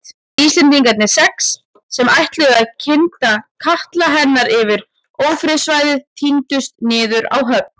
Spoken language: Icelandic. Íslendingarnir sex, sem ætluðu að kynda katla hennar yfir ófriðarsvæðið tíndust niður á höfn.